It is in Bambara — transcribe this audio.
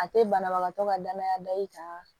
A tɛ banabagatɔ ka danaya da i kan